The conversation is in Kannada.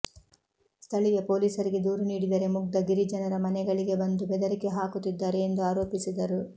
ಸ್ಥಳೀಯ ಪೊಲೀಸರಿಗೆ ದೂರು ನೀಡಿದರೆ ಮುಗ್ಧ ಗಿರಿಜನರ ಮನೆಗಳಿಗೆ ಬಂದು ಬೆದರಿಕೆ ಹಾಕುತ್ತಿದ್ದಾರೆ ಎಂದು ಆರೋಪಿಸಿದರು